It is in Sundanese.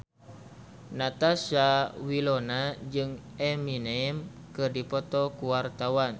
Natasha Wilona jeung Eminem keur dipoto ku wartawan